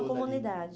toda ali. Comunidade.